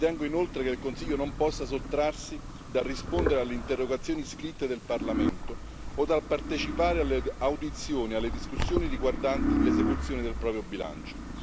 Ritengo inoltre che il Consiglio non possa sottrarsi al rispondere alle interrogazioni scritte del Parlamento o al partecipare alle audizioni e alle discussioni riguardanti l'esecuzione del proprio bilancio.